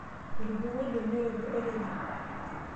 Etupukuo oldia olnyororo orere.